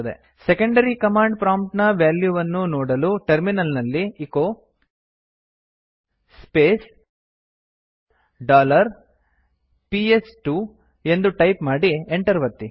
secondary command prompt ನ value ವನ್ನು ನೋದಲು ಟರ್ಮಿನಲ್ ನಲ್ಲಿ ಎಚೊ ಸ್ಪೇಸ್ ಡಾಲರ್ ಪಿಎಸ್2 ಎಂದು ಟೈಪ್ ಮಾಡಿ Enter ಒತ್ತಿ